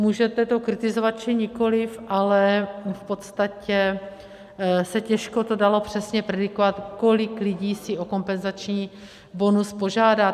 Můžete to kritizovat, či nikoliv, ale v podstatě se těžko to dalo přesně predikovat, kolik lidí si o kompenzační bonus požádá.